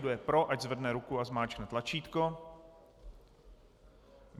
Kdo je pro, ať zvedne ruku a zmáčkne tlačítko.